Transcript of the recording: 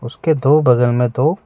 इसके दो बगल में दो--